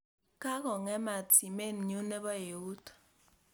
Kakong'emat simennyu ne po eut